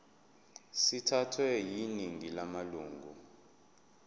sithathwe yiningi lamalunga